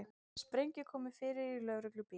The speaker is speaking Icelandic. Sprengju komið fyrir í lögreglubíl